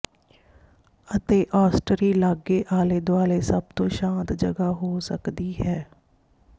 ਅਤੇ ਆੱਸਟਰੀ ਲਾਗੇ ਆਲੇ ਦੁਆਲੇ ਸਭ ਤੋਂ ਸ਼ਾਂਤ ਜਗ੍ਹਾ ਹੋ ਸਕਦੀ ਹੈ